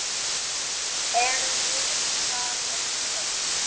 Erum við það ekki öll?